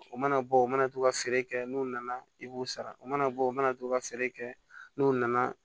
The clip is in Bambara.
O mana bɔ u mana to ka feere kɛ n'u nana i b'u sara o mana bɔ u mana to ka feere kɛ n'o nana